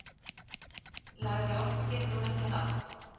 Lægri orku getur hún ekki haft!